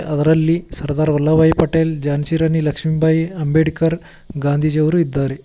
ಅದರಲ್ಲಿ ಸರ್ದಾರ್ ವಲ್ಲಬಾಯಿ ಪಟೇಲ್ ಝಾನ್ಸಿ ರಾಣಿ ಲಕ್ಷ್ಮಿಬಾಯಿ ಅಂಬೇಡ್ಕರ್ ಗಾಂಧೀಜಿ ಯವರೂ ಇದ್ದಾರೆ.